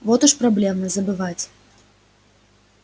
вот уж проблема забывать